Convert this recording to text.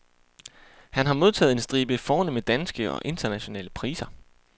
Han har modtaget en stribe fornemme danske og internationale priser.